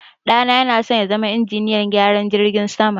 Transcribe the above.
ɗana yanasan yazama injiniyan gyaran jirgin sama